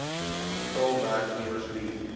getal werknemers wie